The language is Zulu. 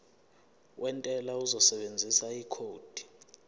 wentela uzosebenzisa ikhodi